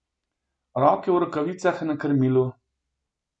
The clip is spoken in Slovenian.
Roke v rokavicah na krmilu.